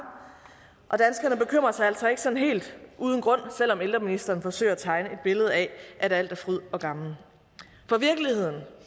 og sig altså ikke sådan helt uden grund selv om ældreministeren forsøger at tegne et billede af at alt er fryd og gammen for virkeligheden